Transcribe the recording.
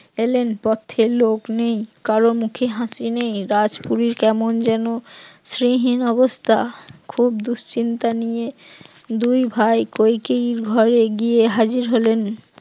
এলেন, পথে লোক নেই কারো মুখে হাসি নেই গাছগুলি কেমন যেন শ্রীহীন অবস্থা, খুব দুশ্চিন্তা নিয়ে দুই ভাই কইকেয়ীর ঘরে গিয়ে হাজির হলেন